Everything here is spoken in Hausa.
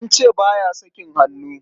An ce ba ya sakin hannu.